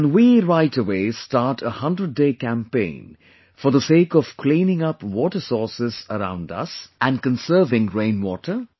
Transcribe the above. Can we right away start a 100 day campaign for the sake of cleaning up water sources around us and conserving rainwater